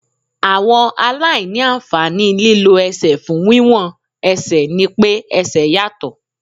Àwọn aláìní àǹfààní lílọ ẹsẹ̀ fún wíwọ́n ẹsẹ̀ ni pé ẹsẹ̀ yàtọ̀.